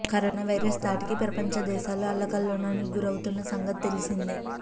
corona virus ధాటికి ప్రపంచ దేశాలు అల్లకల్లోలానికి గురవుతున్న సంగతి తెలిసిందే